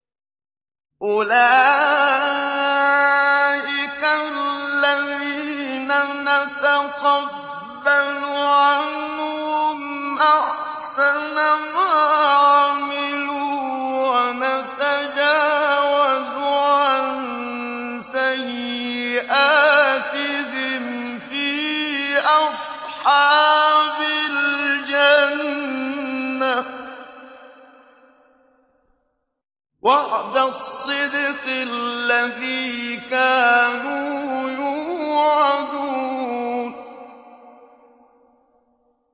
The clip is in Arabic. أُولَٰئِكَ الَّذِينَ نَتَقَبَّلُ عَنْهُمْ أَحْسَنَ مَا عَمِلُوا وَنَتَجَاوَزُ عَن سَيِّئَاتِهِمْ فِي أَصْحَابِ الْجَنَّةِ ۖ وَعْدَ الصِّدْقِ الَّذِي كَانُوا يُوعَدُونَ